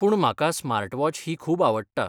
पूण म्हाका स्मार्टवॉच ही खूब आवडटा.